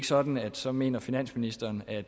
sådan at så mener finansministeren at